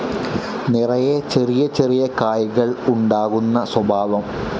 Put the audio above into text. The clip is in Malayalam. നിറയെ ചെറിയ ചെറിയ കായ്കൾ ഉണ്ടാകുന്ന സ്വഭാവം.